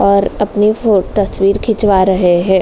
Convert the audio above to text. और अपनी फो तस्वीर खिंचवा रहे हैं।